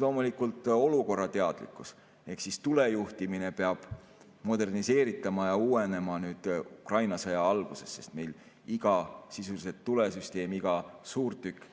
Loomulikult, olukorrateadlikkus, ehk siis tulejuhtimine tuleb moderniseerida ja uuendada Ukraina sõja valguses, sest meil iga sisuliselt tulesüsteemiga suurtükk,